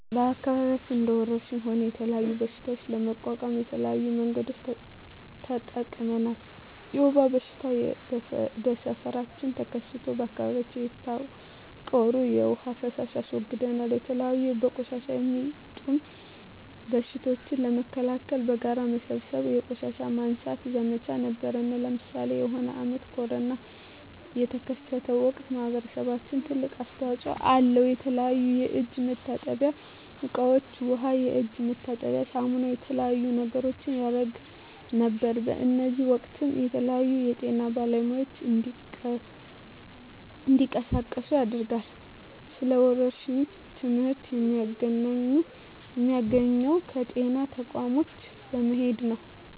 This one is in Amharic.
በአከባቢያችን እንደ ወረርሽኝ ሆነ የተለያዩ በሽታዎች ለመቋቋም የተለያዩ መንገዶችን ተጠቅመናል የወባ በሽታ በሠፈራችን ተከስቶ በአካባቢያችን የተቃሩ የዉሃ ፋሳሽ አስወግደናል የተለያዩ በቆሻሻ የሚጡም በሽቶችን ለመከላከል በጋራ በመሠብሰብ የቆሻሻ ማንሳት ዘመቻ ነበረነ ለምሳሌ የሆነ አመት ኮርና የተከሰተ ወቅት ማህበረሰባችን ትልቅ አስተዋጽኦ አለው የተለያዩ የእጅ መታጠብያ እቃ ዉሃ የእጅ መታጠቢያ ሳሙና የተለያዩ ነገሮችን ያረግ ነበር በእዚህም ወቅትም የተለያዩ የጤና ባለሙያዎች እንዲቀሳቀሱ ያደርጋል ስለ ወረርሽኝ ትመህርት የሚያገኘው ከጤና ተቋሞች በመሄድ ነው